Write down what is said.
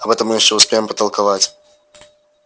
об этом мы ещё успеем потолковать